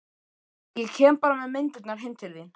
Ég kem bara með myndirnar heim til þín.